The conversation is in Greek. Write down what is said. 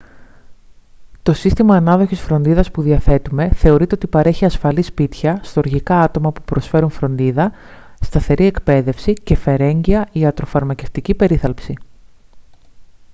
το σύστημα ανάδοχης φροντίδας που διαθέτουμε θεωρείται ότι παρέχει ασφαλή σπίτια στοργικά άτομα που προσφέρουν φροντίδα σταθερή εκπαίδευση και φερέγγυα ιατροφαρμακευτική περίθαλψη